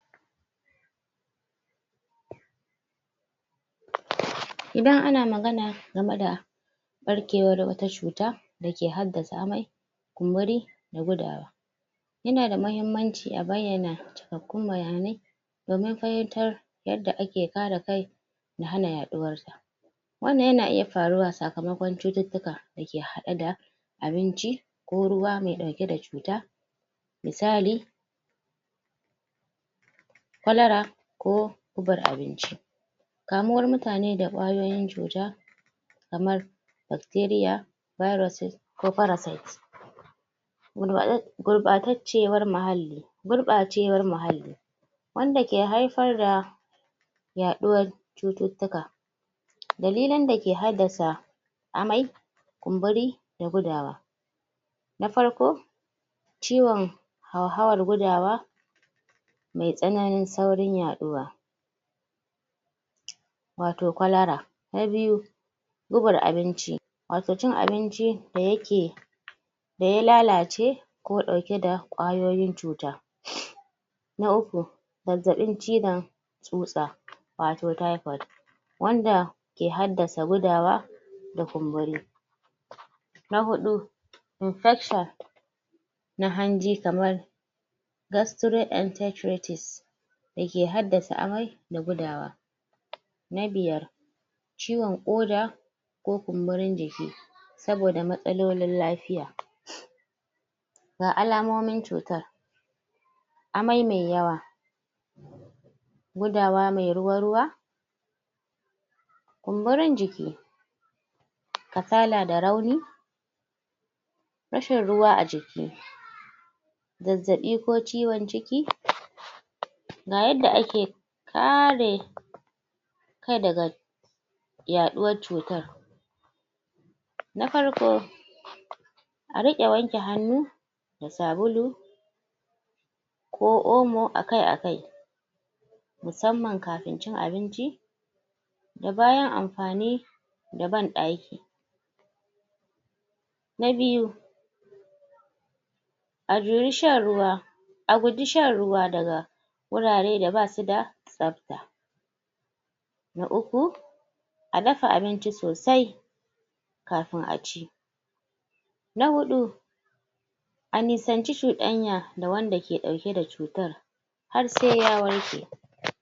Idan ana magana game da ɓarkewar wata cuta ɓarkewar wata cuta da ke haddasa amai kumburi da gudawa ya na da mahimmanci a bayyana cikakkun bayanai da makayantar yadda ake kare kai na hana yaɗuwar wannan ya na iya faruwa sakamakon cututtuka da ke haɗe da abinci ko ruwa mai ɗauke da cuta misali: kwalara ko gubar abinci kamuwar mutane da ƙwayoyin cuta kamar bakteriya bayiros ce ko farasayit.? Gurɓataccewar muhalli gurɓacewar muhalli wanda ke haifar da yaɗuwar cututtuka dalilan da ke haddasa: amai, kumburi da gudawa. Na farko ciwon hauhawar gudawa mai tsananin saurin yaɗuwa wato kwalara. Na biyu, gubar abinci, wato cin abinci da ya ke da ya lalace ko ɗauke da ƙwayoyin cuta.? Na uku, zazzaɓin cizon tsutsa wato tayifod wanda ke haddasa gudawa da kumburi. Na huɗu infekshon na hanji gastroentesrities da ke haddasa amai da gudawa. Na biya, ciwon ƙoda ko kumburin jiki saboda matsalolin lafiya ga alamomin cutar: amai mai yawa, gudawa mai ruwa-ruwa, kumburin jiki, kasala da rauni rashin ruwa a jiki zazzaɓi ko ciwon ciki, ga yadda ake kare kai daga yaɗuwar cutar, na farko: a riƙa wanke hannu da sabulu ko omo akai-akai musamman kafin cin abinci da bayan amfani da da banɗaki. Na biyu a juyi shan ruwa a guji shan ruwa daga wurare da ba su da tsafta. Na uku, a dafa abinici sosai kafin a ci. Na huɗu a nisanci cuɗanya da wanda ke ɗauke da cutar har sai ya warke.